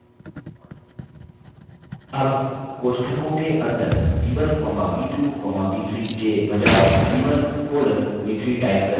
अब कोष्ठकों के अंदर b1 comma b2 comma b3 के बजाय b1 colon b3 type करें